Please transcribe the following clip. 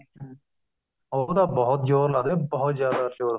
ਉਹ ਤਾਂ ਬਹੁਤ ਜੋਰ ਲੱਗਦਾ ਬਹੁਤ ਜਿਆਦਾ ਜ਼ੋਰ